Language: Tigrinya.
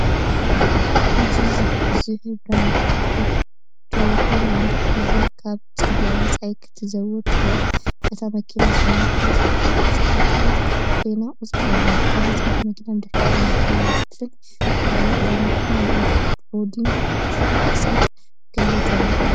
ቢጅ ዝሕብራ ቶዮታ ላንድ ክሩዘር ካብ ጽርግያ ወጻኢ ክትዝውር ትርአ። እታ መኪና ስኖርከል ዝተዓጠቐት ኮይና ቁጽሪ ኣለዋ። ካልእ ጻዕዳ መኪና ብድሕሪ እታ መኪና ብኸፊል ትረአ ኣላ። እዛ መኪና ንኦፍ-ሮዲንግ ክሳብ ክንደይ ተሪር እያ?